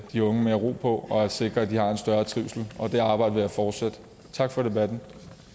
de unge mere ro på og sikre at de har en større trivsel det arbejde vil jeg fortsætte tak for debatten